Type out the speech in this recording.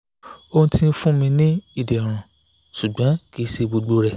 o ti n fun mi ni iderun ṣugbọn kii ṣe gbogbo rẹ